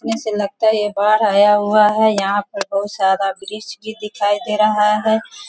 ऐसे लगता है ये बाढ़ आया हुआ है। यहाँ पे बहुत सारा ब्रिज भी दिखाई दे रहा है।